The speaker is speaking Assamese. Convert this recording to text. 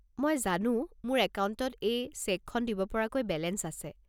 মই জানো মোৰ একাউণ্টত এই চেকখন দিব পৰাকৈ বেলেঞ্চ আছে।